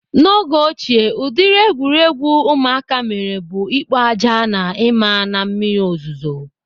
N'oge ochie ụdịrị egwuregwu ụmụaka mere bụ ikpo aja na ima na mmiri ozuzo.